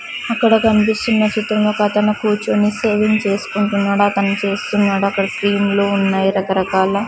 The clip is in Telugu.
అక్కడ కన్పిస్తున్న చిత్రంలో ఒక అతను కూర్చుని సేవింగ్ చేసుకుంటున్నాడు అతను చూస్తున్నాడు అక్కడ క్రీమ్ లు ఉన్నాయి రకరకాల --